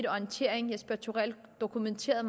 orientering dokumenterede